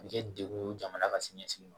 A bɛ kɛ dekun ye jamana ka siniɲɛsigi ma